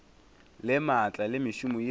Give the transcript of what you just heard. le maatla le mešomo yeo